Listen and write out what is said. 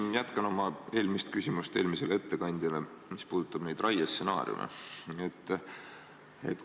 Ma jätkan oma küsimust eelmisele ettekandjale, see puudutab raiestsenaariume.